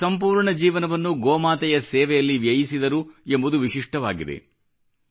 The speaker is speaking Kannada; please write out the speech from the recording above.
ಅವರು ತಮ್ಮ ಸಂಪೂರ್ಣ ಜೀವನವನ್ನು ಗೋಮಾತೆಯ ಸೇವೆಯಲ್ಲಿ ವ್ಯಯಿಸಿದರು ಎಂಬುದು ವಿಶಿಷ್ಠವಾಗಿದೆ